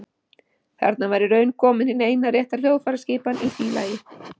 Þarna var í raun komin hin eina rétta hljóðfæraskipan í því lagi.